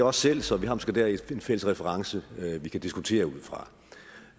også selv så vi har måske dér en fælles reference vi kan diskutere ud fra